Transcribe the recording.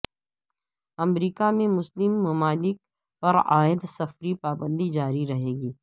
امریکہ میں مسلم ممالک پرعائد سفری پابندی جاری رہے گی